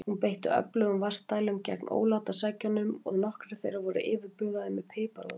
Hún beitti öflugum vatnsdælum gegn ólátaseggjunum og nokkrir þeirra voru yfirbugaðir með piparúða.